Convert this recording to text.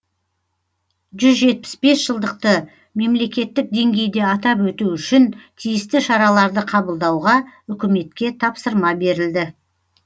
жүз жетпіс бес жылдықты мемлекеттік деңгейде атап өту үшін тиісті шараларды қабылдауға үкіметке тапсырма берілді